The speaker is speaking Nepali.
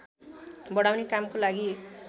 बढाउने कामको लागि